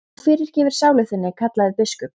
Þú fyrirgerir sálu þinni, kallaði biskup.